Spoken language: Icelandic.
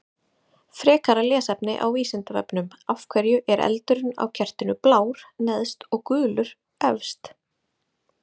Frekara lesefni á Vísindavefnum: Af hverju er eldurinn á kertinu blár neðst og gulur efst?